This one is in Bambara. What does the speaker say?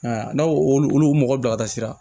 n'aw olu mɔgɔ bila ka taa sira